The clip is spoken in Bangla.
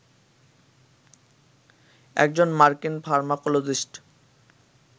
একজন মার্কিন ফার্মাকোলজিস্ট